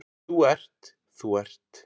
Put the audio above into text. Þú ert, þú ert.